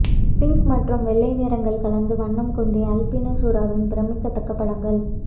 pink மற்றும் வெள்ளை நிறங்கள் கலந்த வண்ணம் கொண்ட அல்பினோ சுறாவின் பிரமிக்கத்தக்க படங்கள்